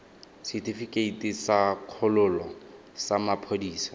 setefikeiti sa kgololo sa maphodisa